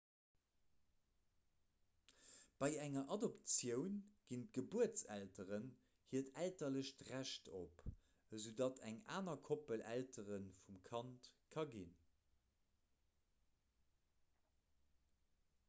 bei enger adoptioun ginn d'gebuertselteren hiert elterlecht recht op esoudatt eng aner koppel eltere vum kand ka ginn